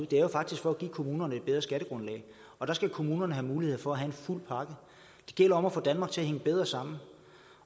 det er jo faktisk for at give kommunerne et bedre skattegrundlag og der skal kommunerne have muligheden for at have en fuld pakke det gælder om at få danmark til at hænge bedre sammen